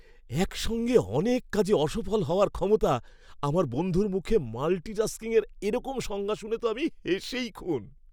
একসঙ্গে অনেক কাজে অসফল হওয়ার ক্ষমতা, আমার বন্ধুর মুখে মাল্টিটাস্কিংয়ের এরকম সংজ্ঞা শুনে তো আমি হেসেই খুন।